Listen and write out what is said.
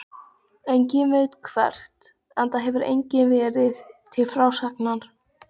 Enginn veit hvert, enda hefur enginn verið til frásagnar.